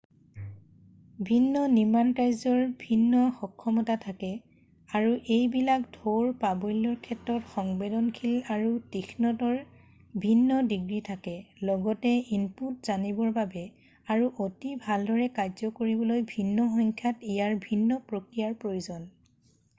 ভিন্ন নিৰ্মাণকাৰ্যৰ ভিন্ন সক্ষমতা থাকে আৰু এইবিলাক ঢৌৰ-প্ৰাবল্যৰ ক্ষেত্ৰত সংবেদনশীল আৰু তীক্ষ্ণতাৰ ভিন্ন ডিগ্ৰী থাকে লগতে ইনপুট জানিবৰ বাবে আৰু অতি ভালদৰে কাৰ্য কৰিবলৈ ভিন্ন সংখ্যাৰ ইয়াত ভিন্ন প্ৰক্ৰিয়াৰ প্ৰয়োজন